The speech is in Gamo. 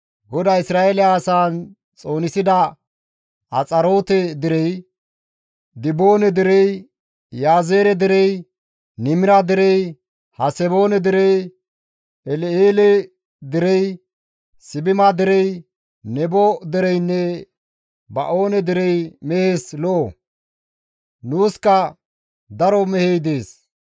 «GODAY Isra7eele asaan xoonisida Axaroote derey, Diboone derey, Iyaazeere derey, Nimra derey, Haseboone derey, El7eele derey, Sibima derey, Nebo dereynne Ba7oone derey mehes lo7o; nuuska daro mehey dees.